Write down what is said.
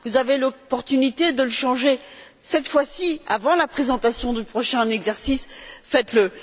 Vous avez l'opportunité de le changer, cette fois ci, avant la présentation du prochain exercice, faites le.